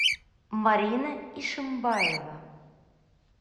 марина ишимбаева